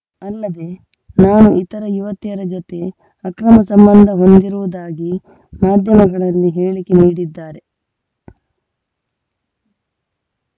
ಅಲ್ಲದೆ ನಾನು ಇತರ ಯುವತಿಯರ ಜತೆ ಅಕ್ರಮ ಸಂಬಂಧ ಹೊಂದಿರುವುದಾಗಿ ಮಾಧ್ಯಮಗಳಲ್ಲಿ ಹೇಳಿಕೆ ನೀಡಿದ್ದಾರೆ